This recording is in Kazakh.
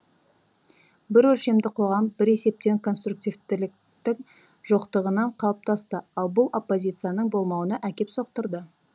бір өлшемді қоғам бір есептен конструктивтіліктің жоқтығынан қалыптасты ал бұл оппозицияның болмауына әкеп соқтырды